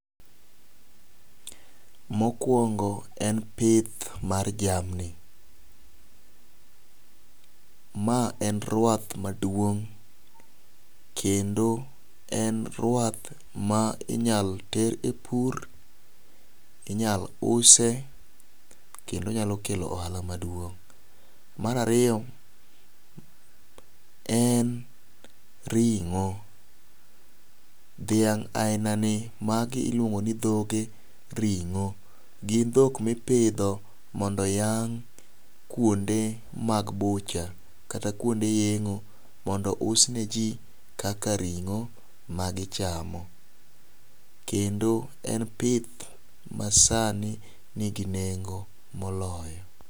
mokuongo en pith mar jamni ,ma en ruath maduong',kendo en ruath ma inyalo ter e pur, inyalo use kendo onyalo kelo ohala maduong',mar ariyo en ringo, dhiang' aina ni magi iuongo ne dhoge ringo, gin dhok mipidho mondo oyang' kuonde bucha kata kuonde yengo mondo ous ne ji kaka ringo magi chamo kendo en pith masani nigi nengo moloyo.